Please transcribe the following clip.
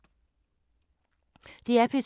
DR P2